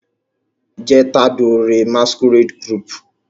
je t'adore masquerade group